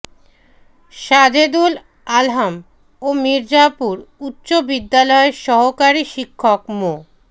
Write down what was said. সাজেদুল আলম ও মির্জাপুর উচ্চ বিদ্যালয়ের সহকারী শিক্ষক মো